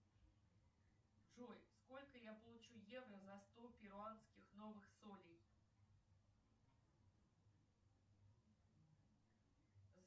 джой сколько я получу евро за сто перуанских новых солей